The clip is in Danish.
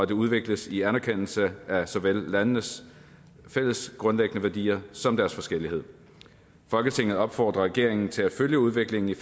det udvikles i anerkendelse af såvel landenes fælles grundlæggende værdier som deres forskellighed folketinget opfordrer regeringen til at følge udviklingen i